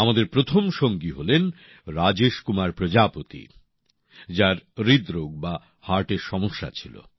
আমাদের প্রথম সঙ্গী হলেন রাজেশ কুমার প্রজাপতি যার হৃদরোগ বা হার্টের সমস্যা ছিল